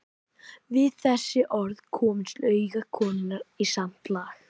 Við þessi orð komust augu konunnar í samt lag.